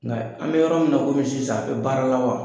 Nka an bɛ yɔrɔ min na komi sisan a bɛ baara la wa?